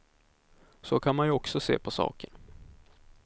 Så kan man ju också se på saken.